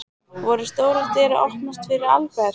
Voru stórar dyr að opnast fyrir Albert?